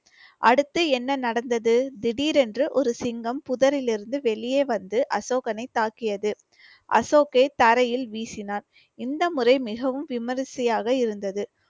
அடுத்து என்ன நடந்தது திடீரென்று ஒரு சிங்கம் புதரில் இருந்து வெளியே வந்து அசோகனை தாக்கியது அசோக்கை தரையில் வீசினார். இந்த முறை மிகவும் விமரிசையாக இருந்தது.